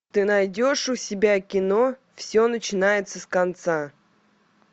ты найдешь у себя кино все начинается с конца